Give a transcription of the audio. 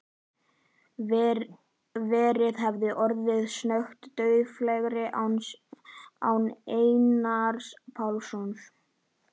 Ferðin hefði orðið snöggtum dauflegri án Einars Pálssonar.